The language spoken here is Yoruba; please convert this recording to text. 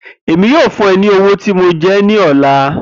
Emi yoo fun ọ ni owo ti mo jẹ ọ ni ọla.